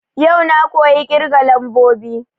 Yau na koyi ƙirga lambobi